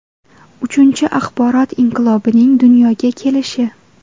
Uchinchi axborot inqilobining dunyoga kelishi.